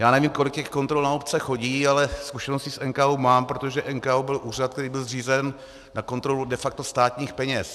Já nevím, kolik těch kontrol na obce chodí, ale zkušenosti s NKÚ mám, protože NKÚ byl úřad, který byl zřízen na kontrolu de facto státních peněz.